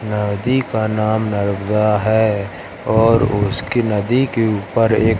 नदी का नाम नर्मदा है और उसकी नदी के ऊपर एक--